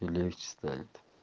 и легче станет